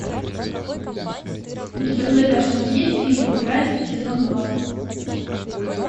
у тебя в загашнике есть фильм грань сезон два